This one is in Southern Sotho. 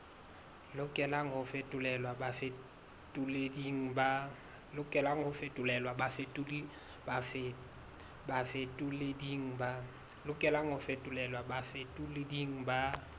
lokelang ho fetolelwa bafetoleding ba